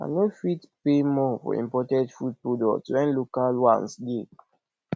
i no fit pay more for imported food products wen local ones dey